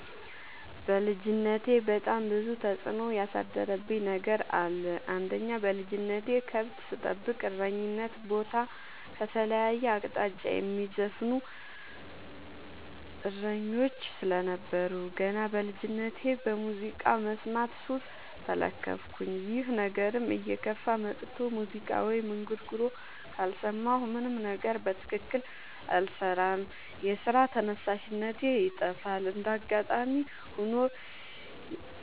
በልጅነቴ በጣም ብዙ ተጽዕኖ ያሳደረብኝ ነገር አለ። አንደኛ በልጅነቴ ከብት ስጠብቅ እረኝነት ቦታ ከተለያየ አቅጣጫ የሚዘፍኑ እሰኞች ስለነበሩ። ገና በልጅነቴ በሙዚቃ መስማት ሱስ ተለከፍኩኝ ይህ ነገርም እየከፋ መጥቶ ሙዚቃ ወይም እንጉርጉሮ ካልሰማሁ ምንም ነገር በትክክል አልሰራም የስራ ተነሳሽነቴ ይጠፋል። እንደጋጣሚ ሆኖ